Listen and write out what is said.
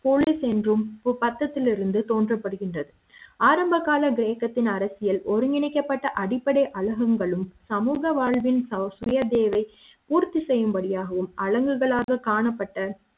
police என்றும் குப்பநத்தத்தில் இருந்து தோன்றப் படுகின்றது ஆரம்ப கால கிரேக்க த்தின் அரசியல் ஒருங்கிணைக்க ப்பட்ட அடிப்படை அலகுங்களும் சமூக வாழ்வின் சுயதேவைப் பூர்த்தி செய்யும் வழி யாகவும் அலகுகளாக காணப்பட்ட